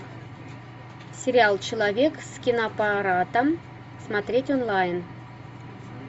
сериал человек с киноаппаратом смотреть онлайн